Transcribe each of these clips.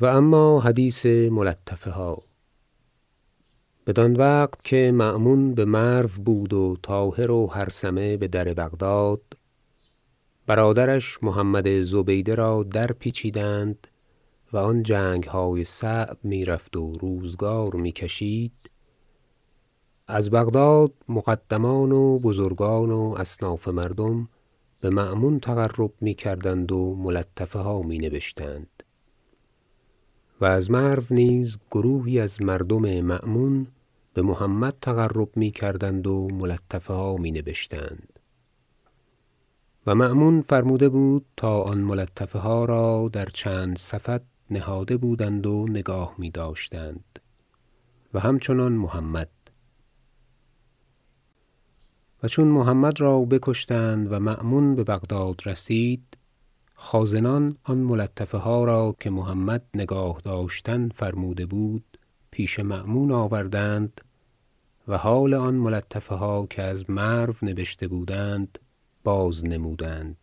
و اما حدیث ملطفه ها بدان وقت که مأمون به مرو بود و طاهر و هرثمه به در بغداد برادرش محمد زبیده را درپیچیدند و آن جنگهای صعب می رفت و روزگار می کشید از بغداد مقدمان و بزرگان و اصناف مردم به مأمون تقرب می کردند و ملطفه ها می نبشتند و از مرو نیز گروهی از مردم مأمون به محمد تقرب می کردند و ملطفه ها می نبشتند و مأمون فرموده بود تا آن ملطفه ها را در چندین سفط نهاده بودند و نگاه می داشتند و همچنان محمد و چون محمد را بکشتند و مأمون به بغداد رسید خازنان آن ملطفه ها را که محمد نگاه داشتن فرموده بود پیش مأمون آوردند و حال آن ملطفه ها که از مرو نبشته بودند بازنمودند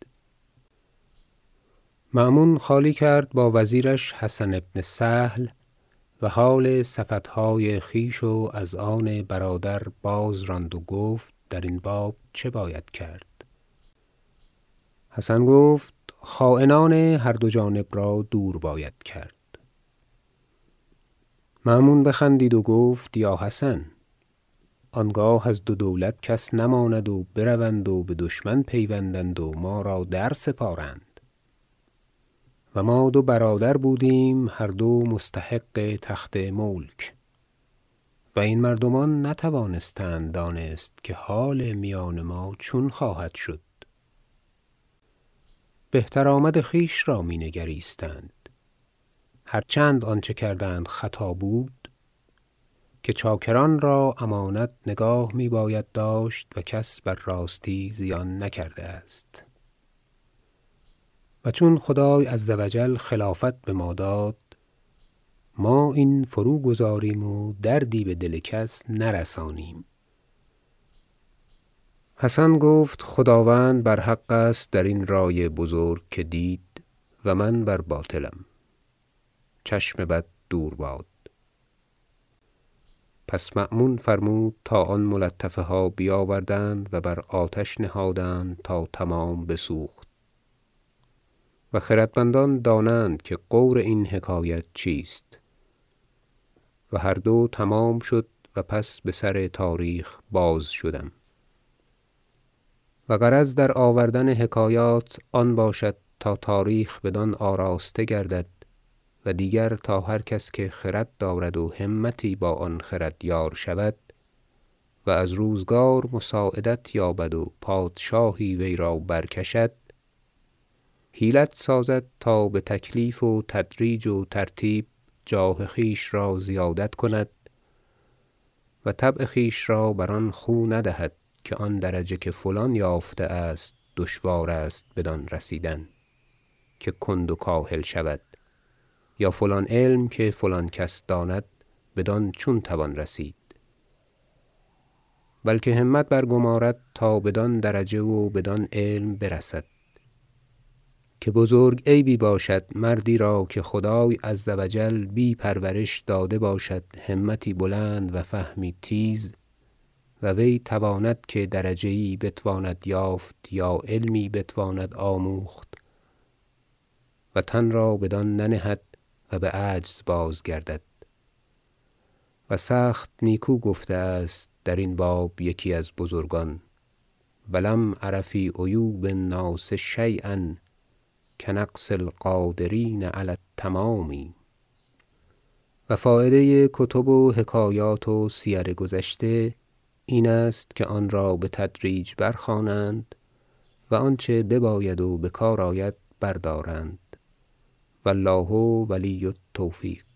مأمون خالی کرد با وزیرش حسن بن سهل و حال سفطهای خویش و از آن برادر بازراند و گفت در این باب چه باید کرد حسن گفت خاینان هر دو جانب را دور باید کرد مأمون بخندید و گفت یا حسن آنگاه از دو دولت کس نماند و بروند و به دشمن پیوندند و ما را درسپارند و ما دو برادر بودیم هر دو مستحق تخت و ملک و این مردمان نتوانستند دانست که حال میان ما چون خواهدشد بهترآمد خویش را می نگریستند هرچند آنچه کردند خطا بود که چاکران را امانت نگاه می باید داشت و کس بر راستی زیان نکرده است و چون خدای -عز و جل- خلافت به ما داد ما این فروگذاریم و دردی به دل کس نرسانیم حسن گفت خداوند بر حق است در این رای بزرگ که دید و من بر باطلم چشم بد دور باد پس مأمون فرمود تا آن ملطفه ها بیاوردند و بر آتش نهادند تا تمام بسوخت و خردمندان دانند که غور این حکایت چیست و هر دو تمام شد و پس به سر تاریخ بازشدم و غرض در آوردن حکایات آن باشد تا تاریخ بدان آراسته گردد و دیگر تا هر کس که خرد دارد و همتی با آن خرد یار شود و از روزگار مساعدت یابد و پادشاهی وی را برکشد حیلت سازد تا به تکلیف و تدریج و ترتیب جاه خویش را زیادت کند و طبع خویش را بر آن خو ندهد که آن درجه که فلان یافته است دشوار است بدان رسیدن که کند و کاهل شود یا فلان علم که فلان کس داند بدان چون توان رسید بلکه همت برگمارد تا بدان درجه و بدان علم برسد که بزرگ عیبی باشد مردی را که خدای -عز و جل- بی پرورش داده باشد همتی بلند و فهمی تیز و وی تواند که درجه یی بتواند یافت یا علمی بتواند آموخت و تن را بدان ننهد و به عجز بازگردد و سخت نیکو گفته است در این باب یکی از بزرگان شعر و لم أر في عیوب الناس شییا کنقص القادرین علی التمام و فایده کتب و حکایات و سیر گذشته این است که آن را بتدریج برخوانند و آنچه بباید و به کار آید بردارند و الله ولی التوفیق